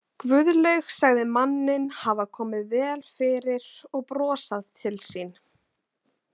Guðlaug sagði manninn hafa komið vel fyrir og brosað til sín.